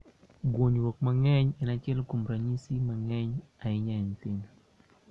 Guonyruok mang'eny en achiel kuom ranyisi ma ng�eny ahinya e nyithindo.